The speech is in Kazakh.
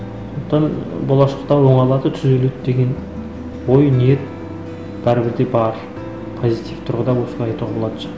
сондықтан болашақта оңалады түзеледі деген ой ниет бәрібір де бар позитив тұрғыда осылай